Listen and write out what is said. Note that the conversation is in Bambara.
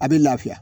A bɛ lafiya